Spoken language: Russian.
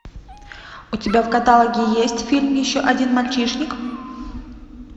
у тебя в каталоге есть фильм еще один мальчишник